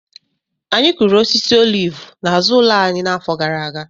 Anyị kụrụ osisi olivu n’azụ ụlọ anyị n’afọ gara aga